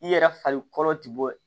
I yɛrɛ farikolo ti bɔ